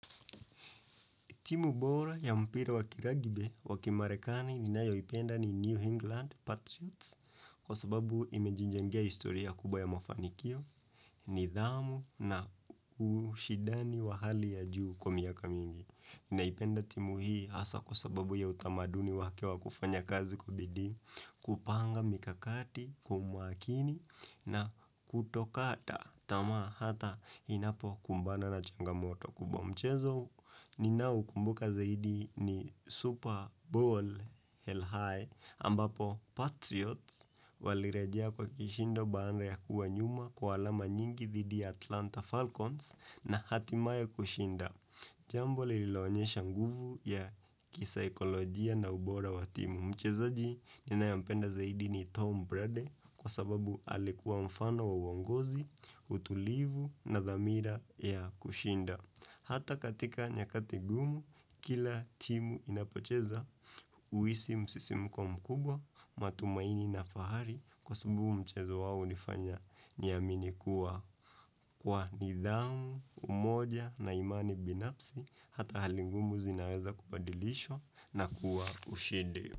Timu bora ya mpira wakiragibe wakimarekani ni nayo ipenda ni New England Patriots kwa sababu imejinjangea historia kubwa ya mafanikio, nidhamu na ushidani wa hali ya juu kwa miaka mingi. Naipenda timu hii asa kwa sababu ya utamaduni wake wa kufanya kazi kubidi, kupanga mikakati, kumwakini, na kutokata tamaa hata hinapo kumbana na changamoto kubomchezo. Ni nau kumbuka zaidi ni Super Bowl Hell high ambapo Patriots walirejea kwa kishindo baada ya kuwa nyuma kwa alama nyingi dhidi Atlanta Falcons na hatimayo kushinda. Jambo lilaonyesha nguvu ya kisa ikolojia na ubora wa timu. Mcheza ji nina yampenda zaidi ni Tom Brady kwa sababu alikuwa mfano wa uongozi, utulivu na dhamira ya kushinda. Hata katika nyakati gumu, kila timu inapocheza, huisi msisimuko mkubwa, matumaini na fahari kwa subumu mchezo wawu nifanya niaminikuwa kwa nidhamu, umoja na imani binafsi, hata halingumu zinaweza kubadilisho na kuwa ushindi.